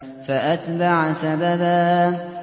فَأَتْبَعَ سَبَبًا